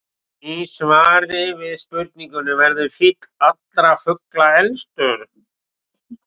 Í svari við spurningunni Verður fýll allra fugla elstur?